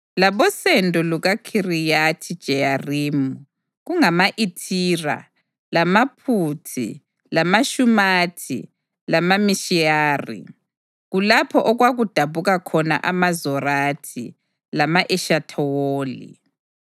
labosendo lukaKhiriyathi-Jeyarimi kungama-Ithira lamaPhuthi lamaShumathi lamaMishirayi. Kulapho okwakudabuka khona amaZorathi lama-Eshithawoli.